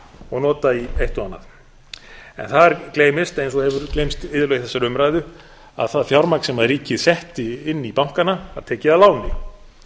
og nota í eitt og annað en þar gleymist eins og hefur gleymst iðulega í þessari umræðu að það fjármagn sem ríkið setti inn í bankana var tekið að láni